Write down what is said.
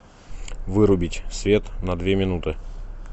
вырубить свет на две минуты